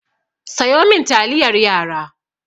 Sayo min taliyar yara!